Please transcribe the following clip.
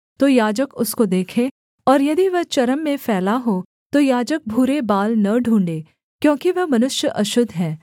तो याजक उसको देखे और यदि वह चर्म में फैला हो तो याजक भूरे बाल न ढूँढ़े क्योंकि वह मनुष्य अशुद्ध है